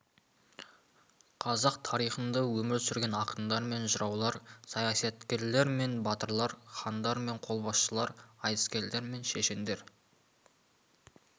қазақ тарихында өмір сүрген ақындар мен жыраулар саясаткерлер мен батырлар хандар мен қолбасшылар айтыскерлер мен шешендер